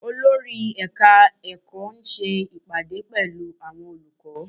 Olórí ẹ̀ka ẹ̀kọ́ ń ṣe ìpàdé pẹ̀lú àwọn olùkọ́